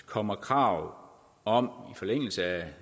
kommer krav om i forlængelse af